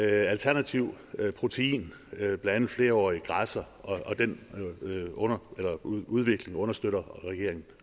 alternativ protein blandt andet flerårige græsser den udvikling understøtter regeringen